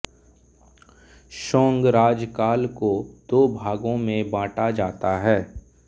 song राजकाल को दो भागों में बांटा जाता है